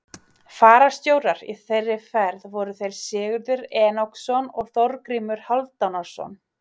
Fararstjórar í þeirri ferð voru þeir Sigurður Enoksson og Þorgrímur Hálfdánarson.